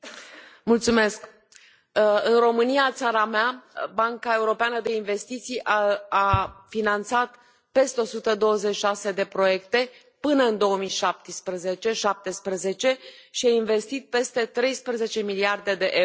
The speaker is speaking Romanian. Doamna președintă, în România, țara mea, Banca Europeană de Investiții a finanțat peste 126 de proiecte până în 2017 și a investit peste 13 miliarde de euro.